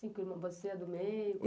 Cinco irmãos, você é a do meio?